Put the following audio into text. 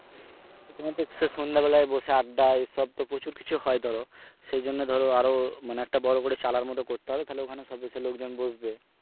সন্ধ্যা বেলায় বসে আড্ডা এসব তো প্রচুর কিছু হয় ধরো, সেজন্য ধরো আরো মানে একটা বড় করে চালার মত করতে হবে তাহলে ওখানে সব এসে লোক জন বসবে।